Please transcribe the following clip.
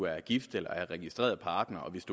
er gift eller er registreret partner og hvis